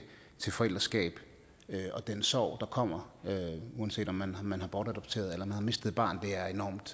til forældreskab og den sorg der kommer uanset om man man har bortadopteret eller man har mistet et barn